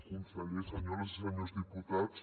conseller senyores i senyors diputats